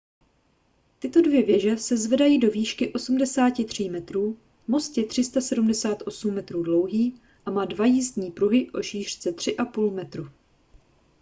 tyto dvě věže se zvedají do výšky 83 metrů most je 378 metrů dlouhý a má dva jízdní pruhy o šířce 3,5 metru